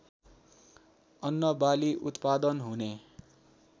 अन्नबाली उत्पादन हुने